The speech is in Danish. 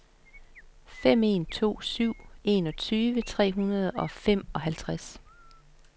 fem en to syv enogtyve tre hundrede og femoghalvtreds